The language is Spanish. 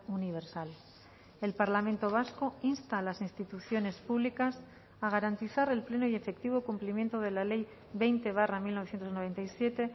universal el parlamento vasco insta a las instituciones públicas a garantizar el pleno y efectivo cumplimiento de la ley veinte barra mil novecientos noventa y siete